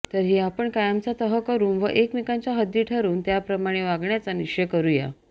तरी आपण कायमचा तह करून व एकमेकांच्या हद्दी ठरवून त्याप्रमाणे वागण्याचा निश्चय करू या